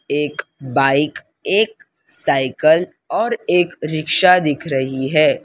एक बाइक एक साइकिल और एक रिक्शा दिख रही है।